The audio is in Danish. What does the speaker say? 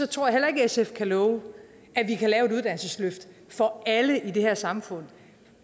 tror heller ikke sf kan love at vi kan lave et uddannelsesløft for alle i det her samfund